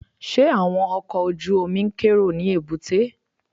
Ṣé àwọn ọkọ̀ ojú-omi ń kérò ní èbúté?